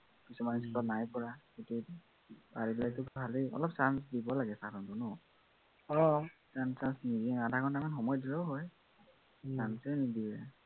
কিছুমান লিখিব নাই পৰা, সেইটোৱেইতো। পাৰিলেতো ভালেই, অলপ chance দিব লাগে sir হঁতে ন, সিমান chance নিদিয়ে, আধাঘন্টামান সময় দিলেও হয় chance য়েই নিদিয়ে